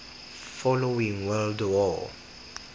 following world war